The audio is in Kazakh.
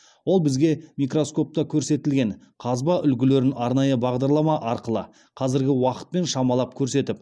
ол бізге микроскопта көрсетілген қазба үлгілерін арнайы бағдарлама арқылы қазіргі уақытпен шамалап көрсетіп